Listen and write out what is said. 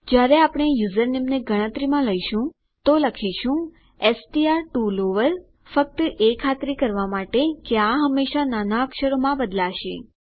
જયારે આપણે યુઝરનેમને ગણતરીમાં લઈશું તો લખીશું એસટીઆર ટીઓ લોવર ફક્ત એ ખાતરી કરવા માટે કે આ હંમેશા નાના અક્ષરોમાં બદલાશે